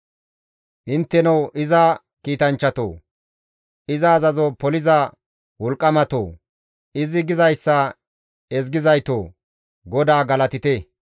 Intteno iza kiitanchchatoo! Iza azazo poliza wolqqamatoo! Izi gizayssa ezgizaytoo! GODAA galatite.